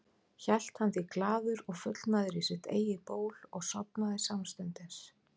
Hélt hann því glaður og fullnægður í sitt eigið ból og sofnaði samstundis.